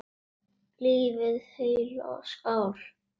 Lifið heil og skál!